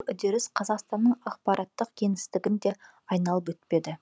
үдеріс қазақстанның ақпараттық кеңістігін де айналып өтпеді